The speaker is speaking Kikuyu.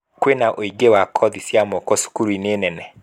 Kwina ũingĩ wa kothi cia mĩako cukuru-inĩ nene